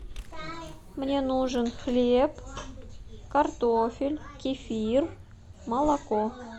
мне нужен хлеб картофель кефир молоко